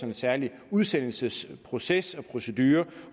en særlig udsendelsesproces og procedure